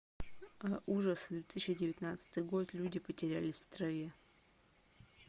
ужасы две тысячи девятнадцатый год люди потерялись в траве